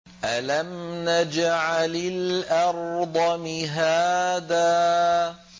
أَلَمْ نَجْعَلِ الْأَرْضَ مِهَادًا